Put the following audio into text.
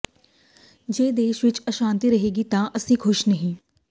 ਜੇ ਦੇਸ਼ ਵਿਚ ਅਸ਼ਾਂਤੀ ਰਹੇਗੀ ਤਾਂ ਅਸੀਂ ਖ਼ੁਸ਼ ਨਹੀਂ